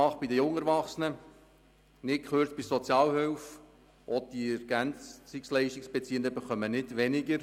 Auch bei den jungen Erwachsenen haben wir keine Anpassung gemacht, und bei der Sozialhilfe und den EL-Beziehenden nicht gekürzt.